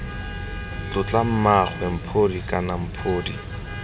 tlotla mmaagwe mphodi kana mphodi